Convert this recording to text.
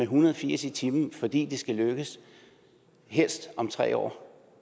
hundrede og firs i timen fordi det skal lykkes helst om tre år